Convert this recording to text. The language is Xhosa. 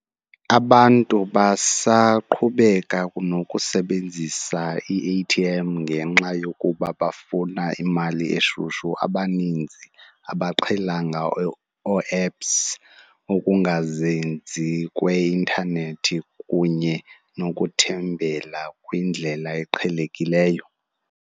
Abantu basaqhubeka nokusebenzisa i-A_T_ M ngenxa yokuba bafuna imali eshushu. Abaninzi abaqhelanga oo-apps ukungazinzi kweintanethi kunye nokuthembela kwindlela eqhelekileyo.